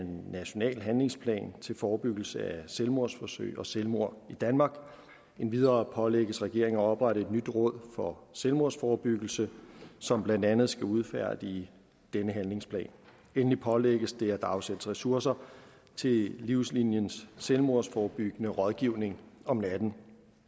en national handlingsplan til forebyggelse af selvmordsforsøg og selvmord i danmark endvidere pålægges regeringen at oprette et nyt råd for selvmordsforebyggelse som blandt andet skal udfærdige denne handlingsplan endelig pålægges det at der afsættes ressourcer til livsliniens selvmordsforebyggende rådgivning om natten